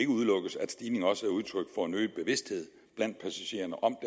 udelukkes at stigningen også er udtryk for en øget bevidsthed blandt passagererne om